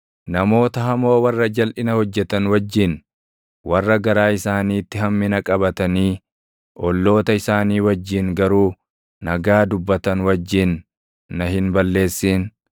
Namoota hamoo warra jalʼina hojjetan wajjin, warra garaa isaaniitti hammina qabatanii olloota isaanii wajjin garuu nagaa dubbatan wajjin na hin balleessin.